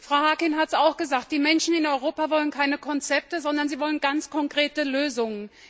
Frau Harkin hat es auch gesagt Die Menschen in Europa wollen keine Konzepte, sondern sie wollen ganz konkrete Lösungen.